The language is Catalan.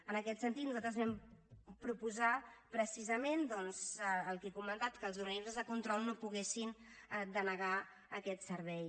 en aquest sentit nosaltres vam proposar precisament doncs el que he comentat que els organismes de control no poguessin denegar aquest servei